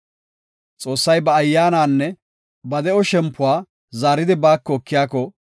Xoossay ba Ayyaananne ba de7o shempuwa zaaridi baako ekiyako,